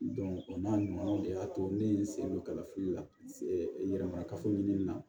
o n'a ɲɔgɔnnaw de y'a to ne ye n sen don kalafili la yɛrɛ marakafo ɲinini na